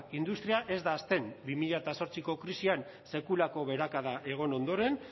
industria ez da hazten bi mila zortziko krisian sekulako beherakada egon ondoren